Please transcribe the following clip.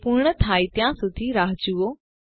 તે પૂર્ણ થાય ત્યાં સુધી રાહ જુઓ